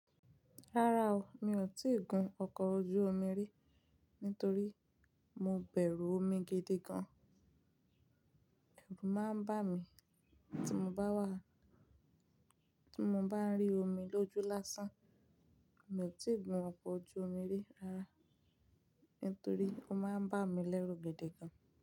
Rárá o, mi ò tíì gun ọkọ̀ ojú omi rí nítorí mo bẹ̀rù omi gidi gan. Ẹ̀rù máa ń bà mí tí mo bá wà, tí mo bá ń rí omi lójú lásán. Mi ò tí ì gun ọkọ̀ ojú omi rí rárá nítorí ó máa ń bà mí lẹ́rù gidi gan.